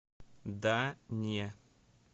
да не